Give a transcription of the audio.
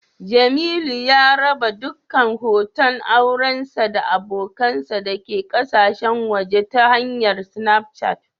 Jemilu ya raba dukkan hoton aurensa da abokansa dake kasashen waje ta hanyar Snapichati